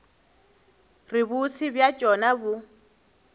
re bose bja tšona bo